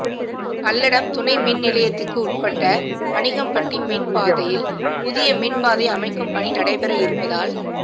பல்லடம் துணை மின்நிலையத்துக்கு உள்பட்ட பனிக்கம்பட்டி மின் பாதையில் புதிய மின் பாதை அமைக்கும் பணி நடைபெற இருப்பதால்